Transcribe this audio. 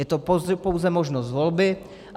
Je to pouze možnost volby.